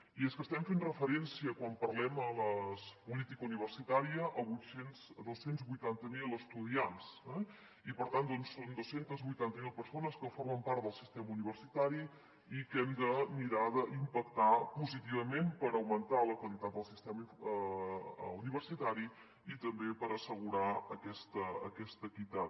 i és que estem fent referència quan parlem de la po·lítica universitària a dos cents i vuitanta miler estudiants eh i per tant són dos cents i vuitanta miler persones que formen part del sistema universitari i hem de mirar d’impactar positivament per augmentar la qualitat del sistema universitari i també per assegurar aquesta equitat